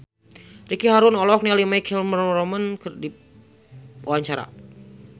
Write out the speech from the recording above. Ricky Harun olohok ningali My Chemical Romance keur diwawancara